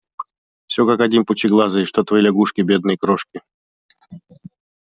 всё как один пучеглазые что твои лягушки бедные крошки